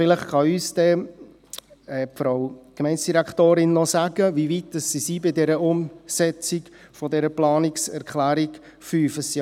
Vielleicht kann uns die Frau Gemeindedirektorin dann noch sagen, wie weit man bei mit Umsetzung dieser Planungserklärung 5 ist.